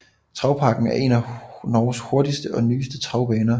Travparken er en af Norges hurtigste og nyeste travbaner